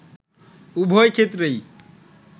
উভয় ক্ষেত্রেই